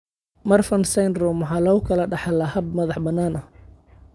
Marfan syndrome waxaa lagu kala dhaxlaa hab madax-bannaan.